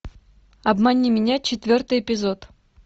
обмани меня четвертый эпизод